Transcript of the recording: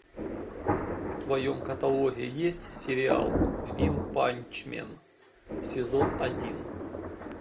в твоем каталоге есть сериал ванпачмен сезон один